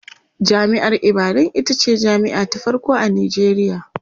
jami'ar ibadan itace jami'a ta farko a Nijeriya